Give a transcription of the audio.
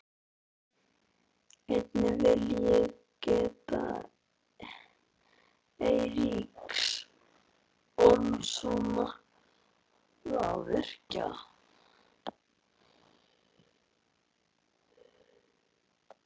Einnig vil ég geta Eiríks Ormssonar rafvirkja.